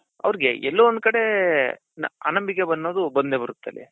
ಅವರ್ಗೆ ಎಲ್ಲೋ ಒಂದ್ ಕಡೆ ಬಂದೆ ಬರುತ್ತೆ